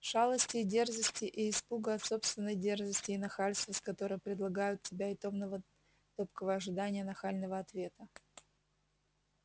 шалости и дерзости и испуга от собственной дерзости и нахальства с которым предлагают себя и томного топкого ожидания нахального ответа